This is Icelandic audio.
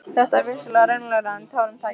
Þetta var vissulega raunalegra en tárum tæki.